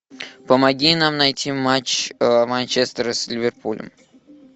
помоги нам найти матч манчестера с ливерпулем